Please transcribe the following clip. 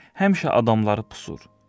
həmişə adamları qısqır.